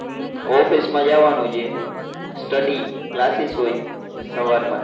Office માં જવાનું છે. study classes હોય સવાર માં.